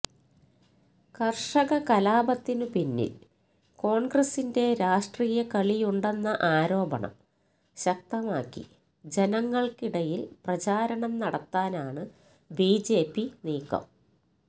കര്ഷക കലാപത്തിന് പിന്നില് കോണ്ഗ്രസിന്റെ രാഷ്ട്രീയക്കളിയുണ്ടെന്ന ആരോപണം ശക്തമാക്കി ജനങ്ങള്ക്കിടയില് പ്രചാരണം നടത്താനാണ് ബിജെപി നീക്കം